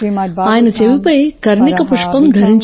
ఆయన చెవిపై కర్ణిక పుష్పం ధరించాడు